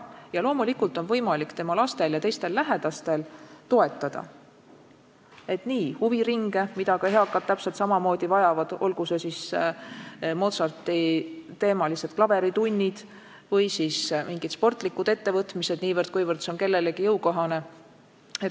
Ja loomulikult on võimalik lastel ja teistel lähedastel toetada huviringides käimist, mida ka eakad inimesed vajavad, olgu need Mozarti-teemalised klaveritunnid või mingid sportlikud ettevõtmised, niivõrd-kuivõrd see on kellelegi jõukohane.